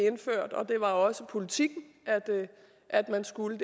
indført og det var også politikken at man skulle